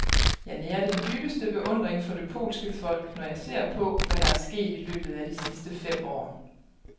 Jeg nærer den dybeste beundring for det polske folk, når jeg ser på, hvad der er sket i løbet af de sidste fem år.